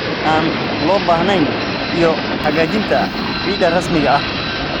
aan loo baahnayn iyo hagaajinta ciidda rasmiga ah.